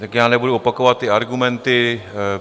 Tak já nebudu opakovat ty argumenty.